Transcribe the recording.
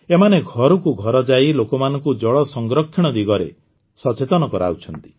ଏମାନେ ଘରକୁ ଘର ଯାଇ ଲୋକମାନଙ୍କୁ ଜଳ ସଂରକ୍ଷଣ ଦିଗରେ ସଚେତନ କରାଉଛନ୍ତି